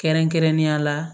Kɛrɛnkɛrɛnnenya la